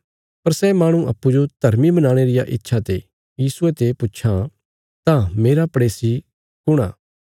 पर सै माहणु अप्पूँजो धर्मी बनाणे रिया इच्छा ते यीशुये ते पुच्छां तां मेरा पड़ेसी कुण आ